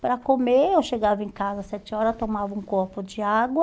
Para comer, eu chegava em casa às sete horas, tomava um copo de água,